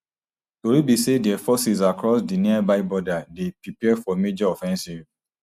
tori be say dia forces across di nearby border dey prepare for major offensive